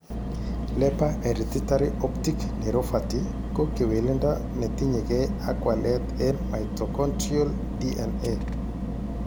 Leber hereditary optic neuropathy ko kewelindo netinyegei ak walet eng' mitochondrial DNA.